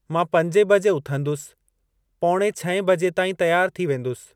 मां पंजे बजे उथंदुसि पौणे छहें बजे ताईं तियारु थी वेंदुसि।